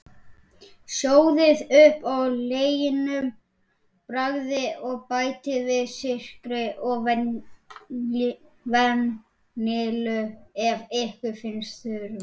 Sjóðið upp á leginum, bragðið, og bætið við sykri og vanillu ef ykkur finnst þurfa.